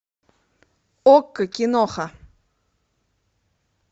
окко киноха